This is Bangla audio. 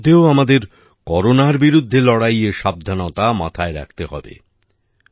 এসবের মধ্যেও আমাদের করোনার বিরুদ্ধে লড়াইয়ের সাবধানতা মাথায় রাখতে হবে